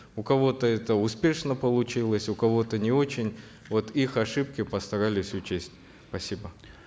у кого то это успешно получилось у кого то не очень вот их ошибки постарались учесть спасибо